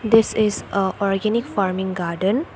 this is organic farming garden.